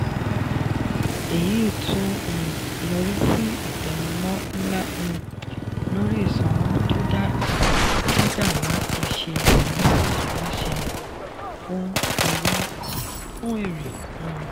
èyí ti um yọrí sí ìtẹnumọ́ ńlá um lórí ìsanwó tó dà láti ṣe ìwúrí aláṣẹ fún èrè. um